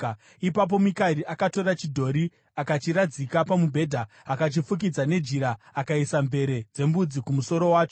Ipapo Mikari akatora chidhori akachiradzika pamubhedha, akachifukidza nejira akaisa mvere dzembudzi kumusoro wacho.